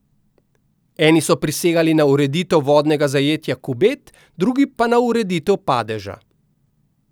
Eni so prisegali na ureditev vodnega zajetja Kubed, drugi na ureditev Padeža.